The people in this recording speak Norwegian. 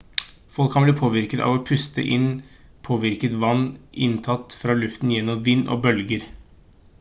folk kan bli påvirket av å puste inn påvirket vann inntatt fra luften gjennom vind og bølger